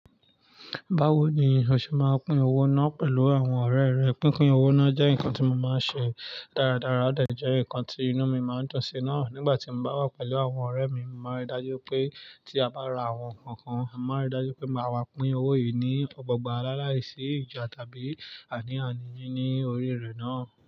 Báwo ni o ṣe máa ń pín owó náà pẹ̀lú àwọn ọ̀rẹ́ rẹ? Pínpín owó náà jẹ́ nǹkan tí mo máa ń ṣe dáradára, ó dà jẹ́ nǹkan tí inú mi máa ń dùn sí náà. Nígbà tí mo bá wà pẹ̀lú àwọn ọ̀rẹ́ mi, mo máa rí i dájú pé tí a bá ra àwọn nǹkan kan, a máa rí i dájú pé máa wá pín owó yìí ní ọgbọ̀n gbà á láláìsí ìjà tàbí ani àní ní oríire náà.